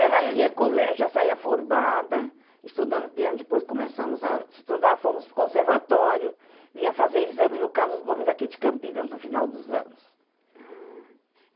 Era que é colégio, já saía formada, estudando piano, depois começamos a estudar, fomos para o conservatório, vinha fazer exame no Carlos Gomes, aqui de Campinas, no final dos anos. Ah...